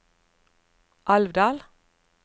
Alvdal